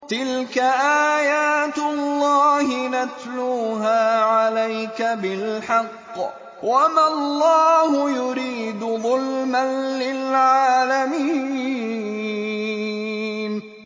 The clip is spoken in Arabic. تِلْكَ آيَاتُ اللَّهِ نَتْلُوهَا عَلَيْكَ بِالْحَقِّ ۗ وَمَا اللَّهُ يُرِيدُ ظُلْمًا لِّلْعَالَمِينَ